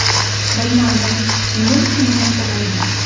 Bilmadim, nima uchun bu narsa bo‘lmadi?